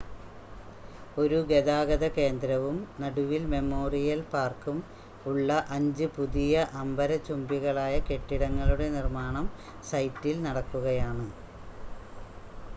ഒരു ഗതാഗത കേന്ദ്രവും നടുവിൽ മെമ്മോറിയൽ പാർക്കും ഉള്ള അഞ്ച് പുതിയ അംബരചുംബികളായ കെട്ടിടങ്ങളുടെ നിർമ്മാണം സൈറ്റിൽ നടക്കുകയാണ്